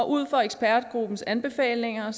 ud fra ekspertgruppens anbefalinger